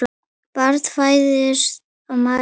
Barn fæðist og maður deyr.